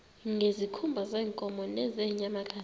ngezikhumba zeenkomo nezeenyamakazi